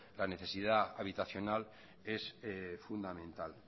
la necesidad habitacional es fundamental